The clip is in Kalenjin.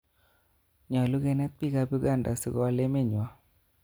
Nyalu kenet piik ap Uganda asikowal emet nywa.